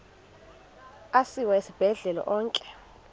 asiwa esibhedlele onke